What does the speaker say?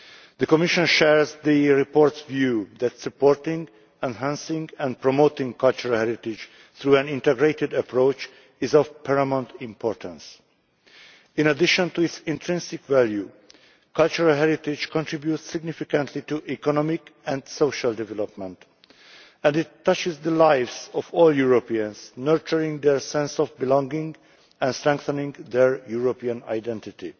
The Commission shares the report's view that supporting, enhancing and promoting cultural heritage through an integrated approach is of paramount importance. In addition to its intrinsic value, cultural heritage contributes significantly to economic and social development and it touches the lives of all Europeans, nurturing their sense of belonging and strengthening their European identity.